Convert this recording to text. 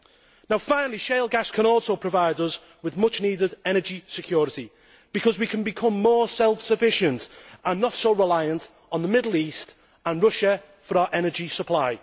Lastly, shale gas can also provide us with much needed energy security, because we can become more self sufficient and not so reliant on the Middle East and Russia for our energy supply.